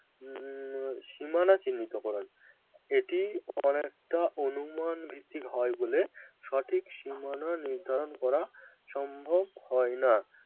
উম সীমানা চিহ্নিতকরণ এটি অনেকটা অনুমান ভিত্তিক হয় বলে সঠিক সীমানা নির্ধারণ করা সম্ভব হয় না